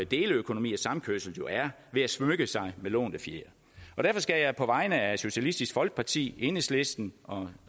deleøkonomi og samkørsel jo er ved at smykke sig med lånte fjer derfor skal jeg på vegne af socialistisk folkeparti enhedslisten og